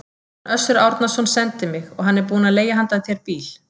Hann Össur Árnason sendi mig, og hann er búinn að leigja handa þér bíl.